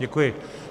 Děkuji.